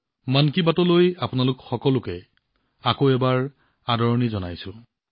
মন কী বাতলৈ আপোনালোক সকলোকে পুনৰবাৰ আদৰণি জনাইছো